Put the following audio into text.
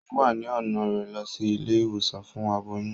O wá ni ọna rẹ lọ sí ilé-ìwòsàn fún aboyún